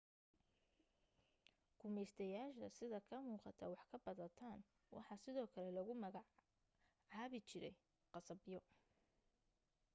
gumaystayaasha sida ka muuqata waxqabadadan waxaa sidoo kale lagu maga caabi jiray khasabyo